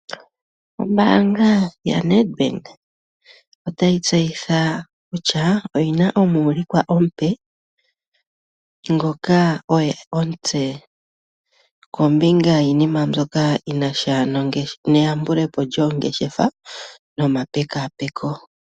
Ombaanga yaNedBank otayi tseyitha kutya oyina omuulikwa omupe ngoka oye omutse kombinga yiinima mbyoka yinasha neyambulepo yongeshefa nomapekapeko.